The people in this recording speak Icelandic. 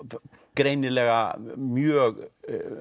greinilega mjög